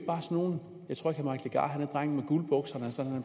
drengen med guldbukserne så